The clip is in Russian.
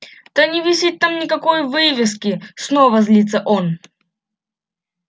да не висит там никакой вывески снова злится он